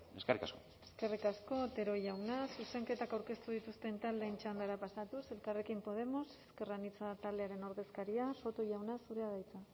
eskerrik asko eskerrik asko otero jauna zuzenketak aurkeztu dituzten taldeen txandara pasatuz elkarrekin podemos ezker anitza taldearen ordezkaria soto jauna zurea da hitza